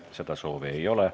Seda soovi ei ole.